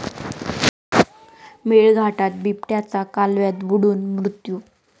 मेळघाटात बिबट्याचा कालव्यात बुडून मृत्यू